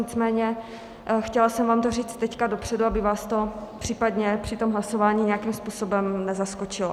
Nicméně chtěla jsem vám to říct teď dopředu, aby vás to případně při tom hlasování nějakým způsobem nezaskočilo.